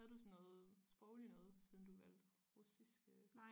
Havde du sådan noget sproglig noget siden du valgte russiske